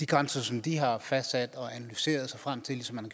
grænser som de har fastsat og analyseret sig frem til ligesom man